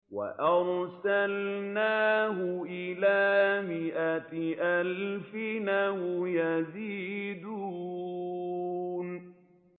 وَأَرْسَلْنَاهُ إِلَىٰ مِائَةِ أَلْفٍ أَوْ يَزِيدُونَ